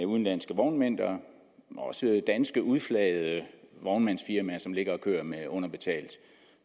udenlandske vognmænd og også danske udflagede vognmandsfirmaer som ligger og kører med underbetalt